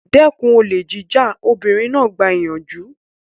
Dẹ́kun olè jíjà! Obìnrin náà gba ìyànjú.